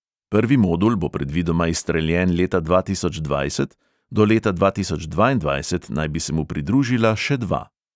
Prvi modul bo predvidoma izstreljen leta dva tisoč dvajset, do leta dva tisoč dvaindvajset naj bi se mu pridružila še dva.